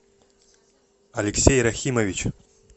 алексей рахимович